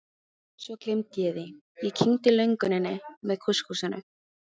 Svo gleymdi ég því, ég kyngdi lönguninni með kúskúsinu.